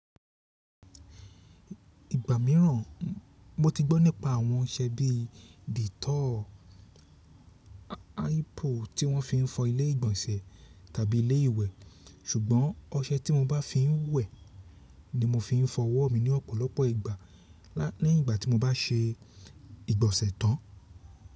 Ìgbà mìíràn, mo ti gbọ́ nípa àwọn ọṣẹ bí dettol tí wọ́n fi ń fọ ilé ìgbọ̀nsẹ̀ tàbí ilé ìwẹ̀, ṣùgbọ́n ọṣẹ tí mo bá fi ń wẹ̀ ni mo fi ń fọ ọwọ́ mi ní ọ̀pọ̀lọpọ̀ ìgbà lẹ́yìn ìgbà tí mo bá ṣe ìgbọ̀nsẹ̀ tán.